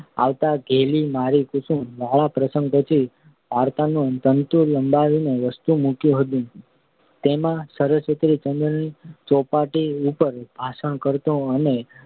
આવતાં ધેલી મારી કુસુમવાળા પ્રસંગ પછી વાર્તાનો તંતુ લંબાવીને વસ્તુ મૂક્યું હતું. તેમાં સરસ્વતીચંદ્રને ચોપાટી ઉપર ભાષણ કરતો અને